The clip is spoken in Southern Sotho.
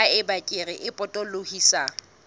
ha eba kere e potolohisang